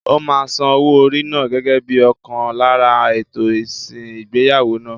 Ó máa san owó orí náà gẹ́gẹ́ bíi ọ̀kan lára ètò ìsìn ìgbéyàwó náà.